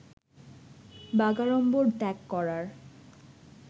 বাগাড়ম্বর ত্যাগ করার